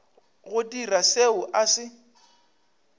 go dira seo a se